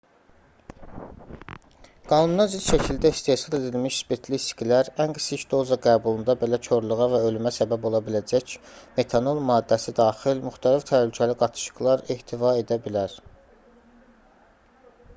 qanunazidd şəkildə istehsal edilmiş spirtli içkilər ən kiçik doza qəbulunda belə korluğa və ölümə səbəb ola biləcək metanol maddəsi daxil müxtəlif təhlükəli qatışıqlar ehtiva edə bilər